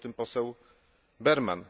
Mówił o tym poseł Berman.